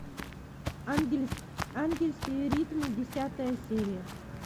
ангельские ритмы десятая серия